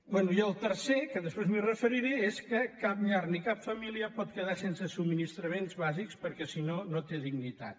bé i el tercer que després m’hi referiré és que cap llar ni cap família pot quedar sense subministraments bàsics perquè si no no té dignitat